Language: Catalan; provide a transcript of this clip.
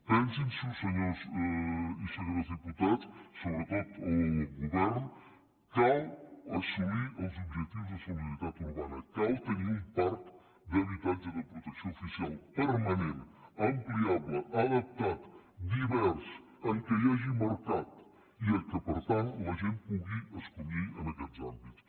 pensin s’ho senyors i senyores diputats sobretot el govern cal assolir els objectius de solidaritat urbana cal tenir un parc d’habitatge de protecció oficial permanent ampliable adaptat divers en què hi hagi mercat i en què per tant la gent pugui escollir en aquests àmbits